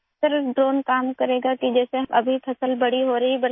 سر، drone ایسے کام کرے گا جیسے اب فصل اگ رہی ہے